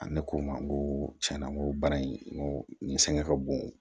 Ani k'o ma koo cɛn na n ko baara in n ko nin sɛgɛn ka bon